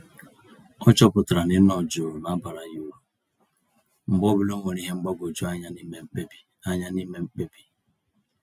Ọchọpụtara na ịnọ jụụ na abara ya uru, mgbe ọbula onwere ìhè mgbagwoju anya n'ime mkpebi anya n'ime mkpebi